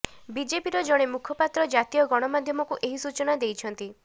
ବିଜେପିର ଜଣେ ମୁଖପାତ୍ର ଜାତୀୟ ଗଣମାଧ୍ୟମକୁ ଏହି ସୂଚନା ଦେଇଛନ୍ତି